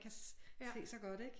Kan se så godt ik